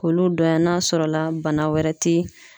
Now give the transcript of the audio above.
K'olu dɔnya n'a sɔrɔ la bana wɛrɛ tɛ